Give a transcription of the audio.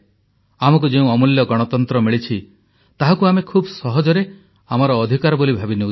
ଆମକୁ ଯେଉଁ ଅମୂଲ୍ୟ ଗଣତନ୍ତ୍ର ମିଳିଛି ତାହାକୁ ଆମେ ଖୁବ ସହଜରେ ଆମର ଅଧିକାର ବୋଲି ଭାବି ନେଉଛୁ